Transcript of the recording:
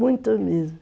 Muito mesmo.